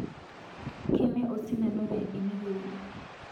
keme osindano enikiudi